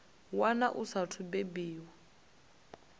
wana a saathu u bebiwaho